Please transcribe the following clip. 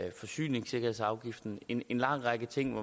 en forsyningssikkerhedsafgift og en lang række ting